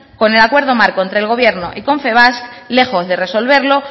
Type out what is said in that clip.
con el acuerdo marco entre el gobierno y confebask lejos de resolverlo